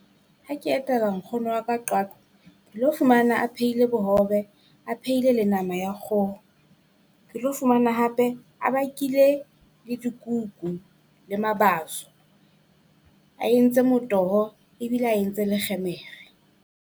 Ha ke etela nkgono wa ka Qwaqwa ke lo fumana a phehile bohobe, a phehile le nama ya kgoho. Ke lo fumana hape a bakile le dikuku le mabaso, a entse motoho ebile a entse le kgemere.